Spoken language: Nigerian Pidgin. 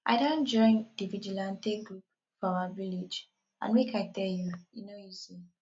i don join the vigilante group for our village and make i tell you e no easy